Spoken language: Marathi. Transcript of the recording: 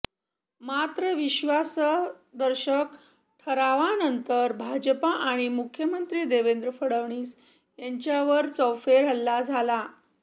मात्र विश्वासदर्शक ठरावानंतर भाजपा आणि मुख्यमंत्री देवेंद्र फडवीस यांच्यावर चौफेर हल्ला झाला